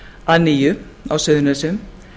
að nýju á suðurnesjum